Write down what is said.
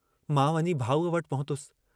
मां वञी भाऊअ वटि पहुतुस।